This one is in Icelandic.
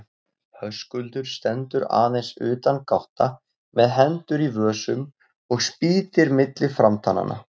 Höskuldur stendur aðeins utangátta með hendur í vösum og spýtir milli framtannanna.